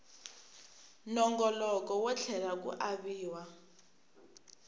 nongoloko wo tlhela ku aviwa